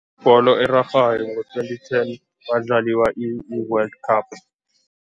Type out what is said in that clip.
Ibholo erarhwako ngo-twenty ten kwadlaliwa i-world cup.